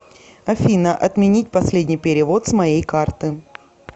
афина отменить последний перевод с моей карты